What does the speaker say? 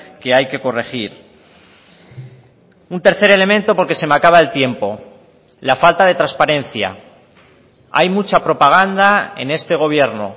que hay que corregir un tercer elemento porque se me acaba el tiempo la falta de transparencia hay mucha propaganda en este gobierno